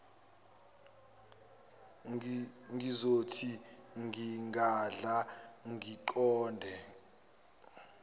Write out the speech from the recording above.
ngizothi ngingadla ngiqonde